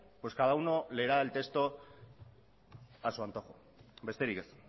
pues cada uno leerá el texto a su antojo besterik ez